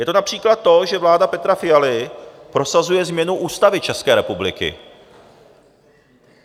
Je to například to, že vláda Petra Fialy prosazuje změnu Ústavy České republiky.